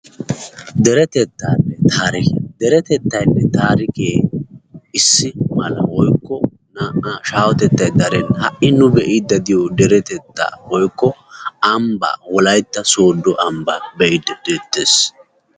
Derettettaanne taarikiyaa. derettettaanne taarikee issi mala woykko naa"aa shaahottettay darenna. ha"i nu bee"idi derettettaa woykko ambbaa woykko wollaytta sodo ambbaa be"idi de"ettees.